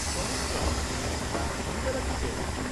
চমৎকার। মহিলারা কি পরেন?